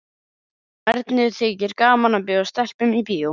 Honum Erni þykir gaman að bjóða stelpum í bíó.